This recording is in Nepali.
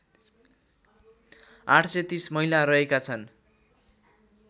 ८३० महिला रहेका छन्